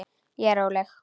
Ég er róleg.